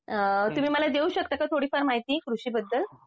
तुम्ही मला देऊ शकता का थोडीफार माहिती? कृषीबद्दल